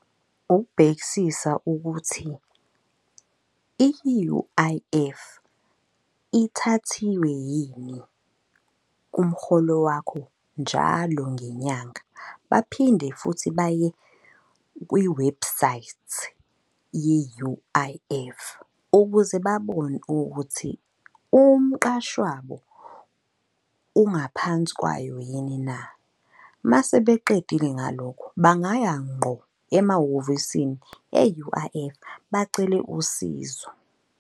Ukubhekisisa ukuthi i-U_I_F ithathiwe yini kumrholo wakho njalo ngenyanga. Baphinde futhi baye kwiwebhusayithi ye-U_I_F, ukuze babone ukuthi umqashi wabo ungaphansi kwayo yini na. Mase beqedile ngalokho, bangaya ngqo emahhovisini e-U_I_F bacele usizo.